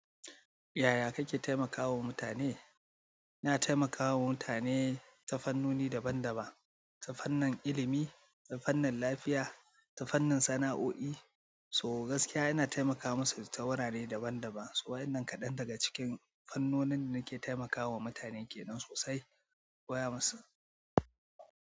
Yaya kake taimakawa mutane? Ina taimakawa mutane ta fannoni daban-daban, ta fannin ilimi, ta fannin lafiya, ta fannin sana'o'i, so gaskiya ina taimakawa masu ta wurare daban-daban. Wa'ennan kaɗan daga cikin fannonin da nake taimakawa mutane ke nan sosai, koya masa.